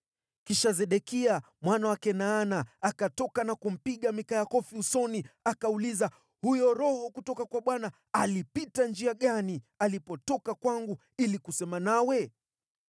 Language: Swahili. Kisha Sedekia mwana wa Kenaana akatoka na kumpiga Mikaya kofi usoni. Akauliza, “Huyo Roho kutoka kwa Bwana alipita njia gani alipotoka kwangu ili kusema nawe?”